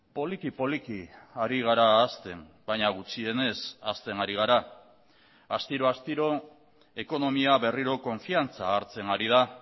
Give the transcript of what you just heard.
poliki poliki ari gara hazten baina gutxienez hazten ari gara astiro astiro ekonomia berriro konfiantza hartzen ari da